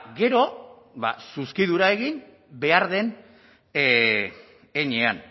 gero ba zuzkidura egin behar den heinean